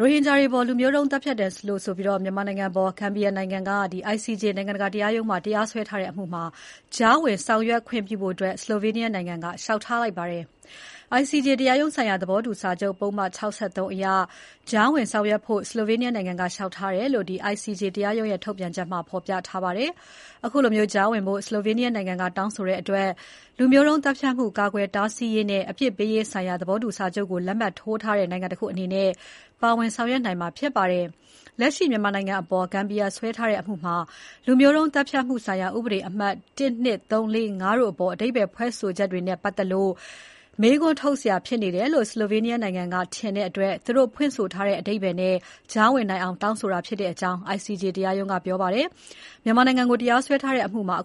ရိုဟင်ဂျာတွေအပေါ် လူမျိုးတုံးသတ်ဖြတ်တယ်လို့ဆိုပြီး မြန်မာနိုင်ငံအပေါ် ဂမ်ဘီယာနိုင်ငံက ICJ နိုင်ငံတကာ တရားရုံးမှာ တရားစွဲထားတဲ့အမှုမှာ ကြားဝင်ဆောင်ရွက်ခွင့်ပြုဖို့ Slovenia နိုင်ငံက လျှောက်ထားလိုက်ပါတယ်။ ICJ တရားရုံးဆိုင်ရာ သဘောတူစာချုပ် ပုဒ်မ ၆၃ အရ ကြားဝင် ဆောင်ရွက်ဖို့ Slovenia နိုင်ငံက လျှောက်ထားတယ်လို့ ICJ တရားရုံးရဲ့ ထုတ်ပြန်ချက်မှာ ဖော်ပြထား ပါတယ်။ အခုလို ကြားဝင်ဖို့ Slovenia နိုင်ငံက တောင်းဆိုတဲ့အတွက် လူမျိုးတုံးသတ်ဖြတ်မှု ကာကွယ်တားဆီး ရေးနဲ့ အပြစ်ပေးရေးဆိုင်ရာ သဘောတူစာချုပ်ကို လက်မှတ်ထိုးထားတဲ့နိုင်ငံတခုအနေနဲ့ ပါဝင် ဆောင်ရွက်နိုင်မှာဖြစ်ပါတယ်။ လက်ရှိ မြန်မာနိုင်ငံအပေါ် ဂမ်ဘီယာစွဲထားတဲ့ အမှုမှာ လူမျိုးတုံး သတ်ဖြတ်မှုဆိုင်ရာ ဥပဒေအမှတ် ၁၊ ၂၊ ၃၊ ၄၊ ၅၊ ၆ တို့အပေါ် အဓိပ္ပါယ်ဖွင့်ဆိုချက်တွေနဲ့ ပတ်သက်လို့ မေးခွန်းထုတ်စရာ ဖြစ်နေတယ်လို့ Slovenia နိုင်ငံကထင်တဲ့အတွက် သူတို့ဖွင့်ဆိုထားတဲ့ အဓိပ္ပါယ်နဲ့ ကြားဝင်နိုင်အောင် တောင်းဆိုတာဖြစ်တယ်လို့ ICJ တရားရုံးက ပြောပါတယ်။ အ